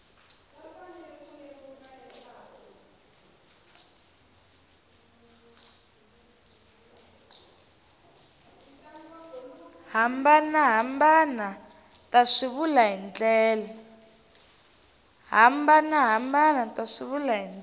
hambanahambana ta swivulwa hi ndlela